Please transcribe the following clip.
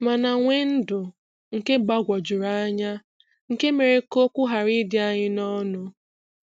mana nwee ndụ nke gbagwojuru anya nke mere ka okwu ghara ịdị anyị n'ọnụ.